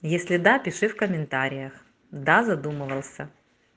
если да пиши в комментариях да задумывался